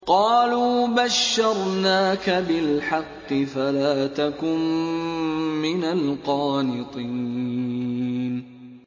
قَالُوا بَشَّرْنَاكَ بِالْحَقِّ فَلَا تَكُن مِّنَ الْقَانِطِينَ